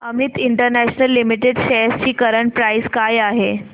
Amit international limited shares ची current price काय आहे